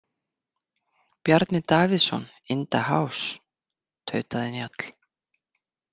Bjarni Davíðsson in da house, tautaði Njáll.